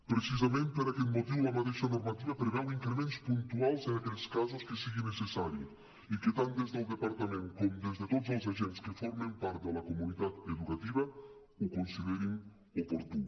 precisament per aquest motiu la mateixa normativa preveu increments puntuals en aquells casos que sigui necessari i que tant des del departament com des de tots els agents que formen part de la comunitat educativa ho considerin oportú